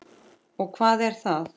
Og hvað er það?